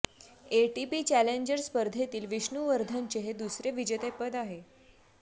ATP challenger स्पर्धेतील विष्णु वर्धनचे हे दुसरे विजेतेपद आहे